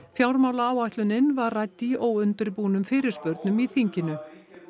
fjármálaáætlunin var rædd í óundirbúnum fyrirspurnum í þinginu